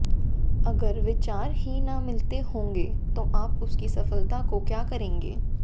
अगर विचार ही न मिलते होंगे तो आप उसकी सफलता को क्या करेंगें